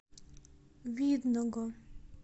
видного